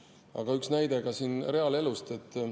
Aga üks näide reaalelust.